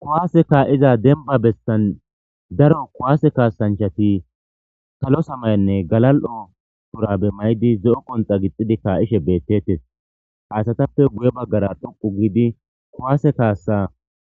kuwaase kaa7iza denba bessan daro kuwaase kaasanchati kalo samayanne galal7o tura be may7di zo7o qonxa gixxidi ka7ishe beettettes haasatappe guye baggara dhoqu giidi kuwaase kaassa